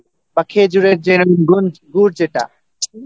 বা খেঁজুরের যে গুড় যেটা